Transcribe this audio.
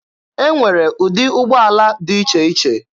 Enwere ụdị ụgbọala dị iche iche.